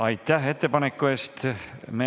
Aitäh ettepaneku eest!